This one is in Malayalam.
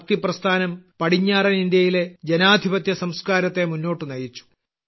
ഭക്തിപ്രസ്ഥാനം പടിഞ്ഞാറൻ ഇന്ത്യയിലെ ജനാധിപത്യസംസ്കാരത്തെ മുന്നോട്ട് നയിച്ചു